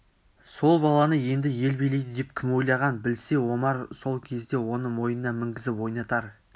сол баланы енді ел билейді деп кім ойлаған білсе омар сол кезде оны мойнына мінгізіп ойнатар